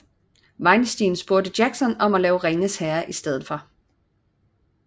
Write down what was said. Weinstein spurgte Jackson om at lave Ringenes herre i stedet for